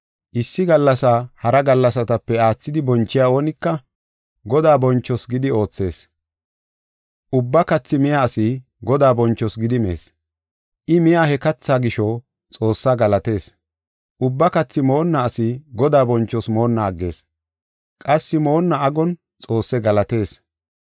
Issi gallasaa hara gallasatape aathidi bonchiya oonika Godaa bonchoos gidi oothees. Ubba kathi miya asi Godaa bonchoos gidi mees. I miya he kathaa gisho, Xoossaa galatees. Ubba kathi moonna asi Godaa bonchoos moonna aggees; qassi moonna agon Xoosse galatees.